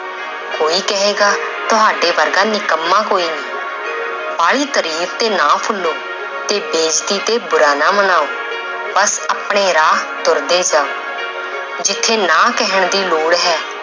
ਕੋਈ ਕਹੇਗਾ ਤੁਹਾਡੇ ਵਰਗਾ ਨਿਕੰਮਾ ਕੋਈ ਨਹੀਂ ਤੇ ਨਾ ਫੁੱਲੋ ਤੇ ਬੇਇਜਤੀ ਤੇ ਬੁਰਾ ਨਾ ਮਨਾਓ ਬਸ ਆਪਣੇ ਰਾਹ ਤੁਰਦੇ ਜਾਓ ਜਿੱਥੇ ਨਾ ਕਹਿਣ ਦੀ ਲੋੜ ਹੈ